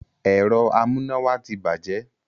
Ẹ̀rọ amúnáwá ti bàjẹ́